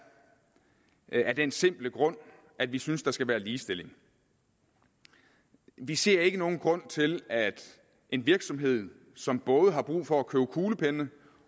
af den simple grund at vi synes at der skal være ligestilling vi ser ikke nogen grund til at en virksomhed som både har brug for at købe kuglepenne